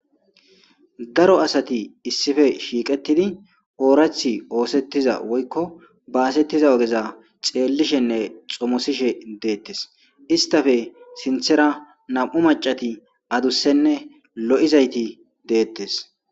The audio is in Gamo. daro asati issife shiiqetidi oorathi oosettiza woykko baasettiza ogeza xeellishenne xomosishe deettes istafe sinthera nam'u macati adussenne lo'izayti deettes